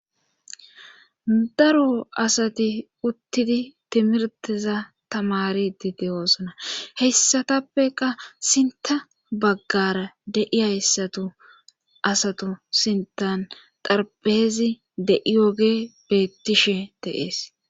daro asati uttidi timirteza tamari dideyoosona heyssatappeka sinta baggara de7i hayssatu asatu sintan xarpeezi de7iyoge bettishe de7ees